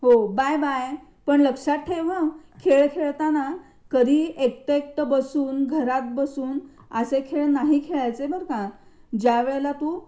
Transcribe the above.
हो bye bye. पण लक्षात ह खेळ खेळताना कधीही हे एकटे एकटे बसून, घरात बसून असे खेळ नाही खेळायचे बर का? ज्या वेळेला तू